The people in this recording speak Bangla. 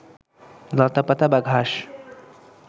লতাপাতা বা ঘাস